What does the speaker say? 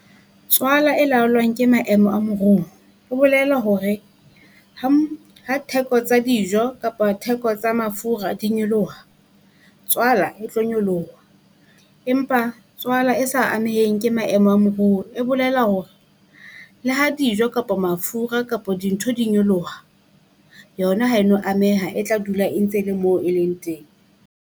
Tswala e laolwang ke maemo a moruo, o bolela hore ha theko tsa dijo kapa theko tsa mafura di nyoloha. Tswala e tlo nyoloha, empa tswala e sa ameheng ke maemo a moruo. E bolela hore le ha dijo kapa mafura kapa dintho di nyoloha yona ha e no ameha e tla dula e ntse le moo e leng teng.